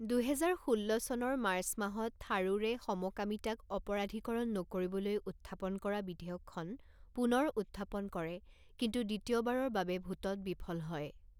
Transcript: দুহেজাৰ ষোল্ল চনৰ মাৰ্চ মাহত, থাৰুৰে সমকামিতাক অপৰাধীকৰণ নকৰিবলৈ উত্থাপন কৰা বিধেয়কখন পুনৰ উত্থাপন কৰে কিন্তু দ্বিতীয়বাৰৰ বাবে ভোটত বিফল হয়।